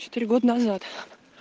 четыре года назад